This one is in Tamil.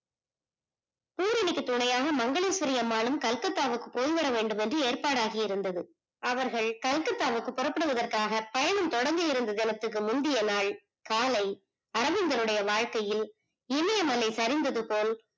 பூரணிக்கு துணையாக மங்கையரசி அம்மாளும் Calcutta க்கு போய்விட வேண்டுமேன்டு ஏற்பாடு ஆகியிருந்தது அவர்கள் Calcutta புறப்படுவதற்க்காக பயணம் தொடங்கிறதுக்கு ஜலத்தியற்க்கு முந்தய நாள் காலை அரவிந்தன்னூடைய வாழ்க்கையில் இமயமலை சரிந்தது போல்